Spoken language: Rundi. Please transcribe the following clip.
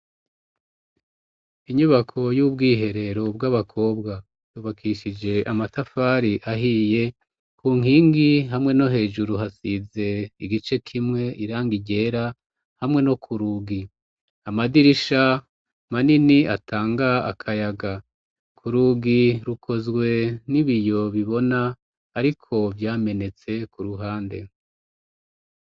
Inyubako y'ubwiherero bw'abakobwa yubakishije amatafari ahiye ku nkingi hamwe no hejuru hasize igice kimwe irangi ryera hamwe no ku rugi amadirisha manini atanga akayaga ku rugi rukozwe nibiyo bibona, ariko vyamenetse ku ruhande.